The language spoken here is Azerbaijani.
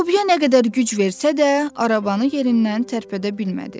Lobya nə qədər güc versə də, arabanı yerindən tərpədə bilmədi.